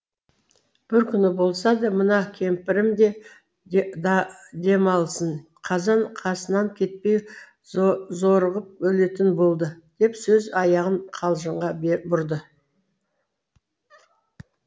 бір күн болса да мына кемпірім де демалсын қазан қасынан кетпей зорығып өлетін болды деп сөз аяғын қалжыңға бұрды